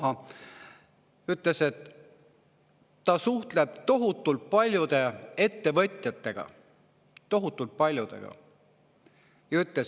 Ja üks mitme miljoni eurose käibega ettevõtja ütles, et ta suhtleb tohutult paljude ettevõtjatega – tohutult paljudega!